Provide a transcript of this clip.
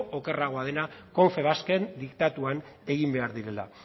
okerragoa dena confebasken diktatuan egin behar direla